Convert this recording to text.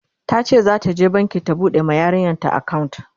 tace zata je banki ta buɗe ma yaranta akawunt